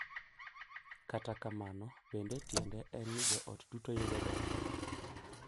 Kata kamano, bende tiende en ni joot duto yudo ber .